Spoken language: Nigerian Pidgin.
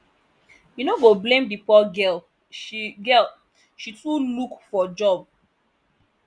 you no go blame the poor girl she girl she too look for job